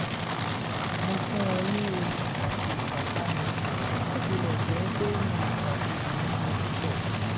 mo fún wọn ní omi àti ìpápánu bó tilẹ̀ jẹ́ pé mi o ṣàlejò oúnjẹ púpọ̀